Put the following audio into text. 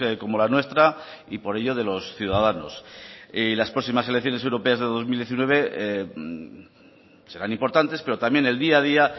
como la nuestra y por ello de los ciudadanos las próximas elecciones europeas del dos mil diecinueve serán importantes pero también el día a día